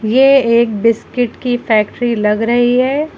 ये एक बिस्किट की फैक्ट्री लग रही है।